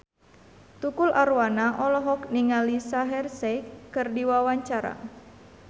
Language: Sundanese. Tukul Arwana olohok ningali Shaheer Sheikh keur diwawancara